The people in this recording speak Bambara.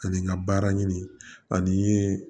Ani n ka baara ɲini ani n ye